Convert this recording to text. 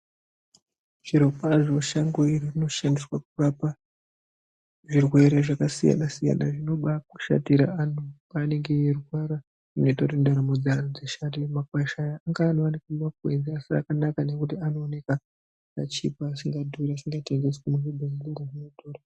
Zvirikwazvo shango iri rinoshandiswa pakurapa zvirwere zvakasiyana-siyana zvinobaashatira antu paanenge eirwara. zvinoita kuti ndaramo dzeantu dzishate. Makwasha aya ngaanowanikwa mumakwenzi, asi akanaka ngekuti anooneka akachipa, asingadhuri, asiungatengeswi muzvibhedhlera zvinodhura.